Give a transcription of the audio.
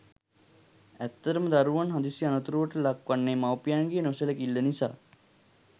ඇත්තටම දරුවන් හදිසි අනතුරුවලට ලක්වන්නේ මවුපියන්ගේ නොසැලකිල්ල නිසා.